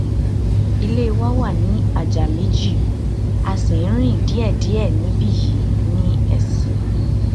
ilé wa wà ní àjà méjì a sì ń rìn díẹdíẹ níbí yìí ní sc